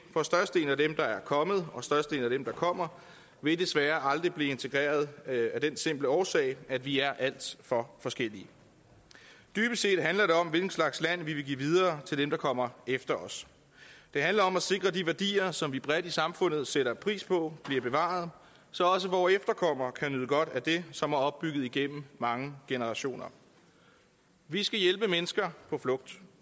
for størstedelen af er kommet og størstedelen der kommer vil desværre aldrig blive integreret af den simple årsag at vi er alt for forskellige dybest set handler det om hvilken slags land vi vil give videre til dem der kommer efter os det handler om at sikre de værdier som vi bredt i samfundet sætter pris på bliver bevaret så også vore efterkommere kan nyde godt af det som er opbygget igennem mange generationer vi skal hjælpe mennesker på flugt